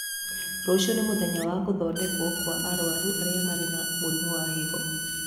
Rũcio nĩ mũthenya wa gũthondekwo kwa arwaru arĩa marĩ na mũrimo wa higo